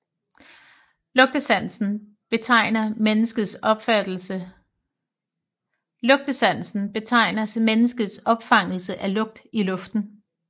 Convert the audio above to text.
Lugtesansen betegner menneskets opfangelse af lugt i luften